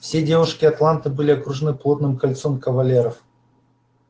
все девушки атланты были окружены плотным кольцом кавалеров